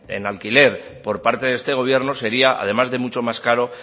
en alquiler por parte de este gobierno sería además de mucho más caro